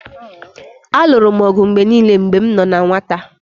Alụrụ m ọgụ mgbe niile mgbe m nọ na nwata